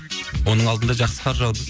оның алдында жақсы қар жауды